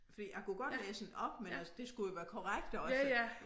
Fordi jeg kunne godt læse den op men altså det skulle jo være korrekt også